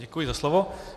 Děkuji za slovo.